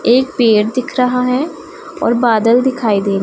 एक पेड़ दिख रहा हैं और बादल दिखाई दे--